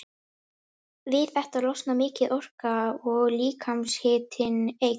Við þetta losnar mikil orka og líkamshitinn eykst.